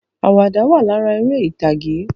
Àwàdà wà lára eré ìtàgè